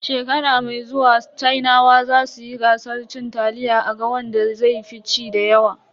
Shekara mai zuwa sinawa zasu yi gasar cin taliya a ga wanda zai fi ci dayawa.